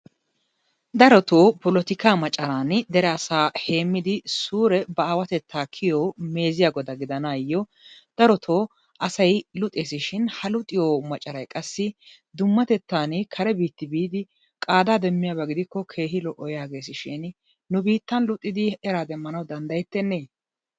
Darotoo polotikaa macaraani dere asaa heemmidi suure ba aawatettaa kiyiyo meeziya goda gidanaayyo darotoo asay luxeesi shin ha lixiyo macaray qassi dummatettaani kare biittaa biidi qaadaa demmiyaba gidikko keehi lo'o yaageesishiini nu biittan luxidi eraa demmana danddayettennee?